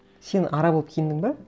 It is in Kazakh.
сен ара болып киіндің бе